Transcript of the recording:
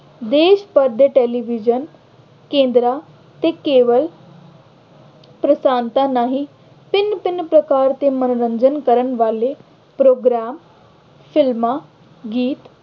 ਦੇਸ਼ ਭਰ ਦੇ television ਕੇਂਦਰਾਂ ਤੇ ਕੇਵਲ ਰਾਹੀਂ ਭਿੰਨ-ਭਿੰਨ ਪ੍ਰਕਾਰ ਦੇ ਮੰਨੋਰੰਜਨ ਕਰਨ ਵਾਲੇ program, film, ਗੀਤ